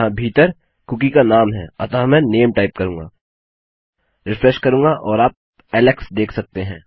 यहाँ भीतर कुकी का नाम है अतः मैं नामे टाइप करूँगा रिफ्रेश करूँगा और आप एलेक्स देख सकते हैं